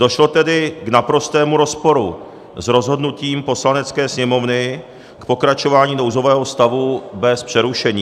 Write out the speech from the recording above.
Došlo tedy k naprostému rozporu s rozhodnutím Poslanecké sněmovny k pokračování nouzového stavu bez přerušení.